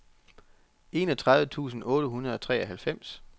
enogtredive tusind otte hundrede og treoghalvfems